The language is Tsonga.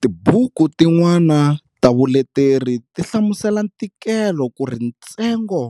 Tibuku tin'wana ta vuleteri ti hlamusela ntikelo kuri ntsengo